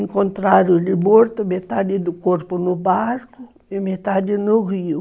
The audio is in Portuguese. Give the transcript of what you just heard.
Encontraram-lhe morto metade do corpo no barco e metade no rio.